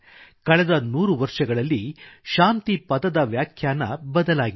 ಕಳೆದ ನೂರು ವರ್ಷಗಳಲ್ಲಿ ಶಾಂತಿ ಪದದ ವ್ಯಾಖ್ಯಾನ ಬದಲಾಗಿದೆ